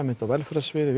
á velferðarsviði